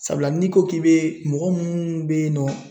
Sabula n'i ko k'i be mɔgɔ munnu be yen nɔ